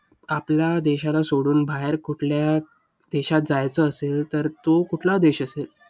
आपला देशाला सोडून बाहेर कुठल्या देशात जायचं असेल, तर तो कुठला देश असेल?